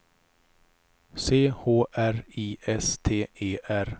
C H R I S T E R